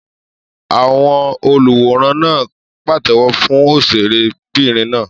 Àwọn oluwòran náà pàtẹ́wọ́ fún òṣèré bìnrin náà